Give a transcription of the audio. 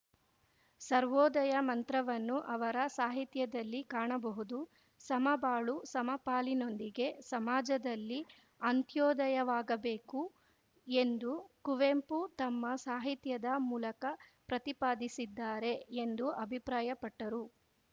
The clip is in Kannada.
ಸರ್ವೋದಯ ಮಂತ್ರವನ್ನು ಅವರ ಸಾಹಿತ್ಯದಲ್ಲಿ ಕಾಣಬಹುದು ಸಮಬಾಳು ಸಮಪಾಲಿನೊಂದಿಗೆ ಸಮಾಜದಲ್ಲಿ ಅಂತ್ಯೋದಯವಾಗಬೇಕು ಎಂದು ಕುವೆಂಪು ತಮ್ಮ ಸಾಹಿತ್ಯದ ಮೂಲಕ ಪ್ರತಿಪಾದಿಸಿದ್ದಾರೆ ಎಂದು ಅಭಿಪ್ರಾಯಪಟ್ಟರು